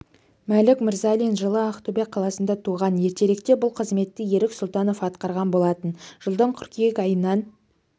мәлік мырзалин жылы ақтөбе қаласында туған ертеректе бұл қызметті ерік сұлтанов атқарған болатын жылдың қыркүйек айынан